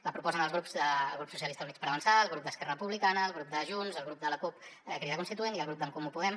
la proposen els grups socialistes i units per avançar el grup d’esquerra republicana el grup de junts el grup de la cup crida constituent i el grup d’en comú podem